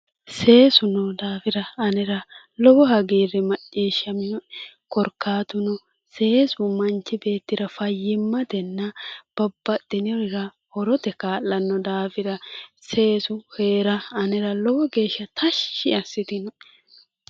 Seesu noo daafira anera lowo hagiirri macciishshaminoe, korkaatuno seesu manchi beettira fayyimmatenna babbaxxinorira horote kaa'lanno daafira seesu heera anera lowo geeshsha tashshi assitinoe.